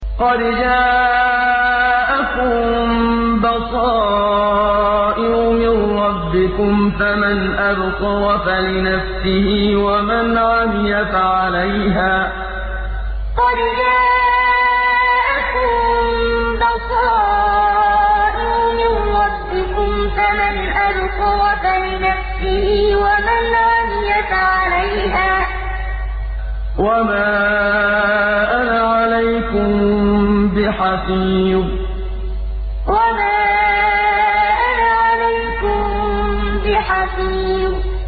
قَدْ جَاءَكُم بَصَائِرُ مِن رَّبِّكُمْ ۖ فَمَنْ أَبْصَرَ فَلِنَفْسِهِ ۖ وَمَنْ عَمِيَ فَعَلَيْهَا ۚ وَمَا أَنَا عَلَيْكُم بِحَفِيظٍ قَدْ جَاءَكُم بَصَائِرُ مِن رَّبِّكُمْ ۖ فَمَنْ أَبْصَرَ فَلِنَفْسِهِ ۖ وَمَنْ عَمِيَ فَعَلَيْهَا ۚ وَمَا أَنَا عَلَيْكُم بِحَفِيظٍ